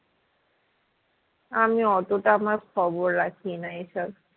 আমি অতটা আমার খবর রাখি না এ সব